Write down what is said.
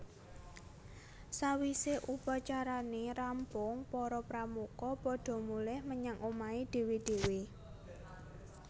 Sawise upacarane rampung para Pramuka padha mulih menyang omahé dhéwé dhéwé